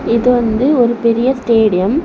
இது வந்து ஒரு பெரிய ஸ்டேடியம் .